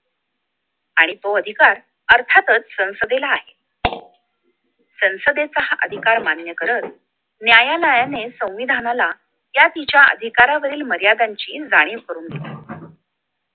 आणि तो अधिकार अर्थातच संसदेला आहे संसदेचा हा अधिकार मान्य करत न्यायालयाने संविधानाला या तिच्या अधिकारालावरील मर्यादांची जाणीव करून दिली